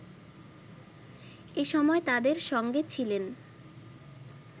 এ সময় তাদের সঙ্গে ছিলেন